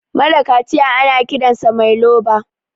mara kaciya ana Kiransa Mai loba